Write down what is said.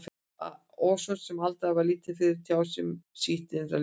En svo sem Alda var lítið fyrir að tjá sig um sitt innra líf, er